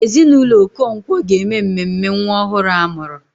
Ezinụlọ Okonkwo ga-eme mmemme nwa ọhụrụ a mụrụ.